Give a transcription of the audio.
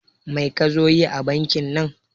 Mai kazo yi a bankin nan